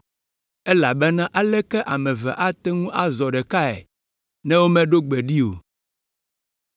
elabena aleke ame eve ate ŋu azɔ ɖekae ne womeɖo gbe ɖi o?”